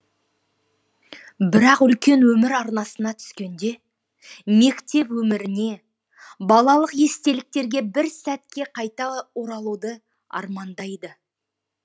бірақ үлкен өмір арнасына түскенде мектеп өміріне балалық естеліктерге бір сәтке қайта оралуды армандайды